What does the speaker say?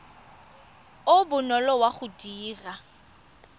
o bonolo wa go dira